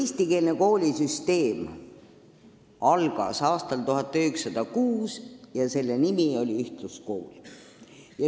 Eestikeelne koolisüsteem algas aastal 1906 ja selle nimi oli ühtluskool.